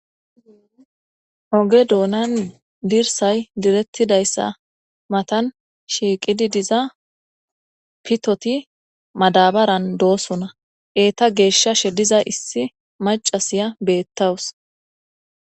Oge doonan dirsay direttidayssa matan shiiqidi diza pitoti madabaran doosona eeta geeshshashe diza issi macasiya beettawus.